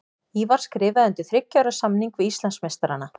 Ívar skrifaði undir þriggja ára samning við Íslandsmeistarana.